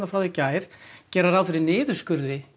frá í gær gera ráð fyrir niðurskurði í